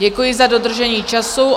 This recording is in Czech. Děkuji za dodržení času.